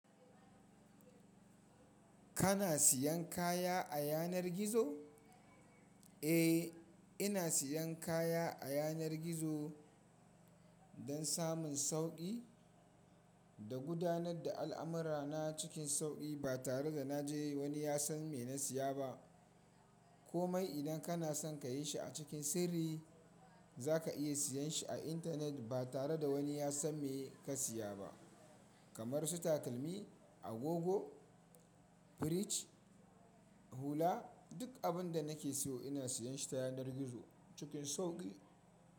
Kana siyan kaya a yanar gizo? Eh, ina siyan kaya a yanar gizo don samun sauƙi da gudanar da al'amurana cikin sauki ba tare da na je wani ya san me na siya ba. Komai idan kana son ka yi shi a cikin sirri, za ka iya siyan shi a intanet ba tare da wani ya san me ka siya ba. Kamar su takalmi, agogo, firij, hula. Duk abin da nake siyo ina siyan shi ta yanar gizo cikin sauƙi.